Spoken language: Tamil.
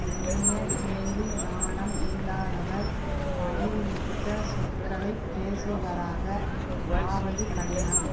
நுண்ணிய கேள்வி ஞானம் இல்லாதவர் பணிவுமிக்க சொற்களை பேசுபவராக ஆவது கடினம்